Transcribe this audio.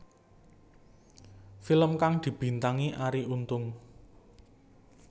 Film kang dibintangi Arie Untung